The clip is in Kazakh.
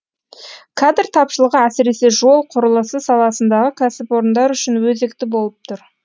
кадр тапшылығы әсіресе жол құрылысы саласындағы кәсіпорындар үшін өзекті болып тұр